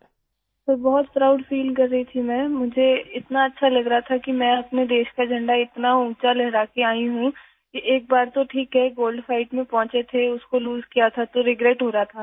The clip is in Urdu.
سر، میں بہت فخر محسوس کر رہی تھی ، مجھے بہت اچھا لگ رہا تھا کہ میں اپنے ملک کا جھنڈا اتنا اونچا لہرا کر واپس آئی ہوں... یہ ٹھیک ہے کہ ایک بار میں گولڈ فائٹ میں پہنچ گئی تھی ، میں اُس میں ہار گئی تھی تو مجھے افسوس ہو رہا تھا